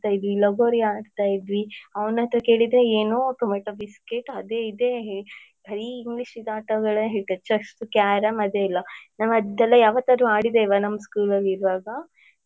ಆಡ್ತಿದ್ವಿ ಲಗೋರಿ ಆಡ್ತಾ ಇದ್ವಿ. ಅವ್ನತ್ರ ಕೇಳಿದ್ರೆ ಏನೋ tomato biscuit ಅದೆ ಇದೆ ಬರಿ englishಶಿದು ಆಟಗಳೇ ಹೇಳ್ತಾನೆ chess carrom ಅದೆಲ್ಲ ನಾವ್ ಅದೆಲ್ಲ ಯಾವಾತದ್ರೂ ಆಡಿದ್ದೇವಾ ನಮ್ school ಅಲ್ಲಿ ಇರುವಾಗ.